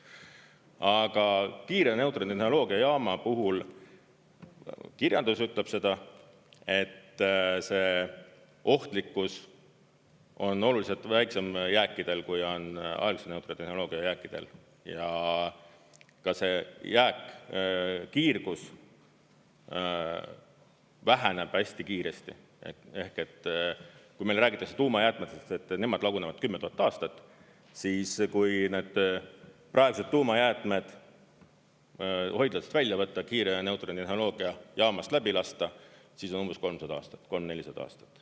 Aga kiire neutroni tehnoloogia jaama puhul kirjandus ütleb seda, et see ohtlikkus on oluliselt väiksem jääkidel, kui on aeglase neutroni tehnoloogia jääkidel, ja ka see jääkkiirgus väheneb hästi kiiresti, ehk et kui meile räägitakse tuumajäätmetest, et nemad lagunevad 10 000 aastat, siis kui need praegused tuumajäätmed hoidlatest välja võtta, kiire neutroni tehnoloogia jaamast läbi lasta, siis on umbes 300 aastat, 300–400 aastat.